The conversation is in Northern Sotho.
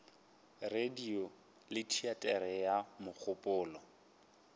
radio ke teatere ya mogopolo